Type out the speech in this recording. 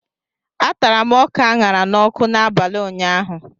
A tara m ọka aṅara n'ọkụ n'abalị ụnyaahụ